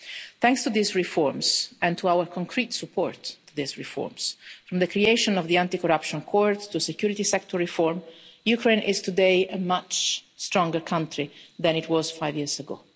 Thanks to these reforms and to our concrete support to these reforms from the creation of the Anti Corruption Court to security sector reform Ukraine is today a much stronger country than it was five years